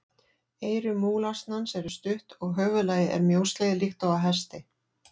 Eyru múlasnans eru stutt og höfuðlagið er mjóslegið líkt og á hesti.